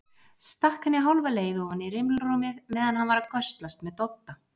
Stakk henni hálfa leið ofan í rimlarúmið meðan hann var að göslast með Dodda.